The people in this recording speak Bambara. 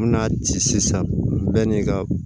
N bɛna ci sisan bɛɛ n'i ka